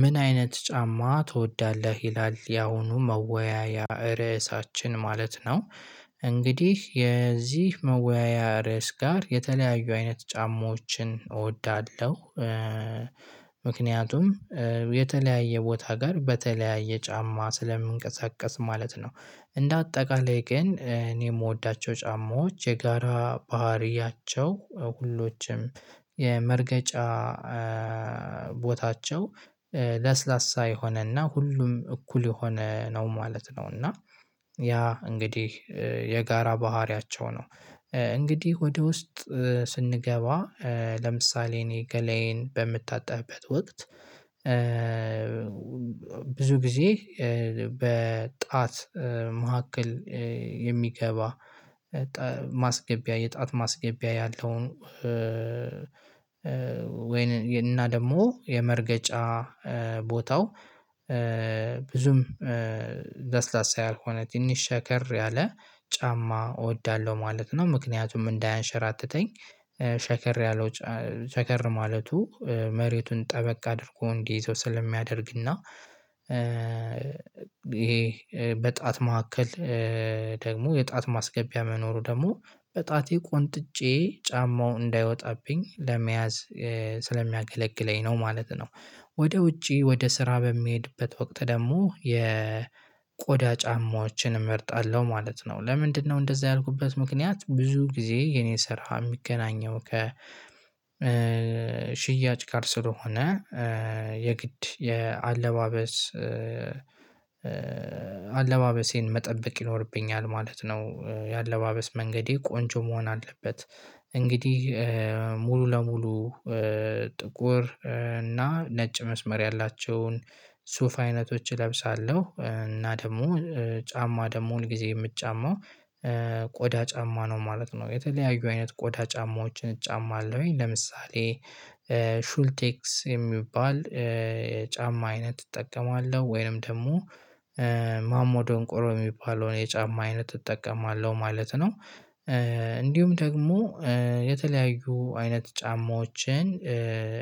ምን አይነት ጫማ ትወዳለህ? ይላል ያሁኑ መወያያ ርዕሳችን ማለት ነው። እንግዲህ የዚህ መወያያ ርዕስ ጋር የተለያዩ አይነት ጫማዎችን እወዳለሁ። ምክንያቱም የተለያየ ቦታ ጋር በተለያየ ጫማ ስለምንቀሳቀስ ማለት ነው። እንደ አጠቃላይ ግን እኔ የምወዳቸው ጫማዎች የጋራ ባህሪያቸው ሁሎችም የመርገጫ ቦታቸው ለስላሳ የሆነና ሁሉም እኩል የሆነ ነው ማለት ነው። እና ያ እንግዲህ የጋራ ባህሪያቸው ነው። እንግዲህ ወደ ውስጥ ስንገባ ለምሳሌ እኔ ገላዬን በምታጠብበት ወቅት። ብዙ ጊዜ በጣት መካከል የሚገባ ማስገቢያ የጣት ማስገቢያ ያለው። ወይን እና ደግሞ የመርገጫ ቦታው ብዙም ለስላሳ ያልሆነ ትንሽ ሸከር ያለ ጫማ እወዳለሁ ማለት ነው። ምክንያቱም እንዳያንሸራትተኝ ሸከር ያለው ሸከር ማለቱ መሬቱን ጠበቅ አድርጎ እንዲይዘው ስለሚያደርግና። ይሄ በጣት መካከል ደግሞ የጣት ማስገቢያ መኖሩ ደግሞ በጣቴ ቆንጥጬ ጫማው እንዳይወጣብኝ ለመያዝ ስለሚያገለግለኝ ነው ማለት ነው። ወደ ውጪ ወደ ስራ በሚሄድበት ወቅት ደግሞ የ ቆዳ ጫማዎችን እመርጣለሁ ማለት ነው። ለምንድነው እንደዛ ያልኩበት ምክንያት ብዙ ጊዜ የኔ ሰርሃ የሚገናኘው ከ ሽያጭ ጋር ስለሆነ። የግድ የአለባበስ አለባበሴን መጠበቅ ይኖርብኛል ማለት ነው። የአለባበስ መንገዴ ቆንጆ መሆን አለበት። እንግዲህ ሙሉ ለሙሉ ጥቁር እና ነጭ መስመር ያላቸውን ሱፍ አይነቶች እለብሳለሁ እና ደግሞ ጫማ ደግሞ ሁል ጊዜ የምጫማው ቆዳ ጫማ ነው ማለት ነው። የተለያዩ አይነት ቆዳ ጫማዎችን እጫማ አለሁኝ ለምሳሌ ሹልቴክስ የሚባል ጫማ አይነት እጠቀማለሁ ወይንም ደግሞ ማሞ ደንቆሮ የሚባለውን የጫማ አይነት እጠቀማለሁ ማለት ነው። እንዲሁም ደግሞ የተለያዩ አይነት ጫማዎችን